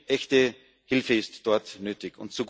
Echte Hilfe ist dort nötig.